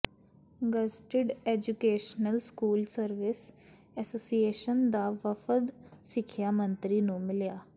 gazetted educational school service association ਦਾ ਵਫ਼ਦ ਸਿੱਖਿਆ ਮੰਤਰੀ ਨੂੰ ਮਿਲਿਆ